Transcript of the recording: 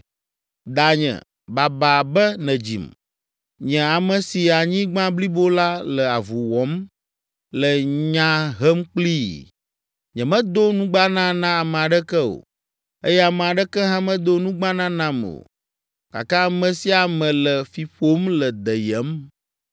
Danye, baba be nèdzim. Nye ame si anyigba blibo la le avu wɔm, le nya hem kplii! Nyemedo nugbana na ame aɖeke o, eye ame aɖeke hã medo nugbana nam o, gake ame sia ame le fi ƒom le deyem.